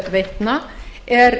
veitna er